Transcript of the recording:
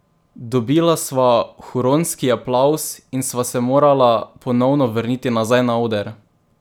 Dobila sva huronski aplavz in sva se morala ponovno vrniti nazaj na oder!